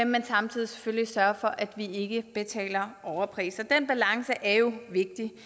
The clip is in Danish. men samtidig selvfølgelig sørge for at vi ikke betaler overpriser den balance er jo vigtig